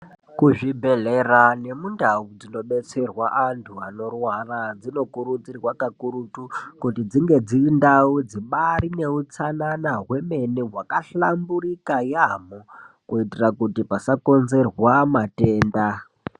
Kuzvibhehleya nemundau dzinobetserwe antu anorwara dzinokurudzirwa kakurutu kuti dzinge dziri ndau dzibarineutsanana hwemene hwakahlamburika yamho kuitire kuti pasakonzerwa matenda.